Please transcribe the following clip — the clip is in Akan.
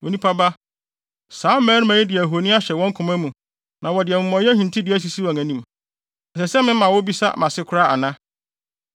“Onipa ba, saa mmarima yi de ahoni ahyɛ wɔn koma mu na wɔde amumɔyɛ hintidua asisi wɔn anim. Ɛsɛ sɛ mema wobisa mʼase koraa ana?